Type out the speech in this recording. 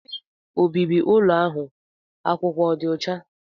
Ebe obibi ụlọ ahụ akwụkwọ ọ dị ọcha?